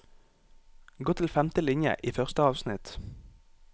Gå til femte linje i første avsnitt